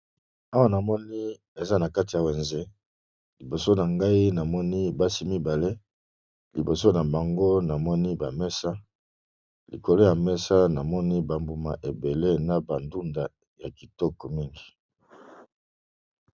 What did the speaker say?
Awa namoni eza na kati ya wenze liboso na ngai namoni basi mibale liboso na bango namoni ba mesa likolo ya mesa namoni ba mbuma ebele na ba ndunda ya kitoko mingi.